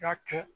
Ka kɛ